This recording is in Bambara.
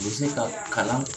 U be se ka kalan